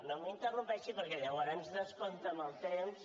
no m’interrompi perquè llavors descompta el temps